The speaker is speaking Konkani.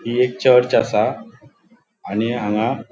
हि एक चर्च असा आणि हांगा --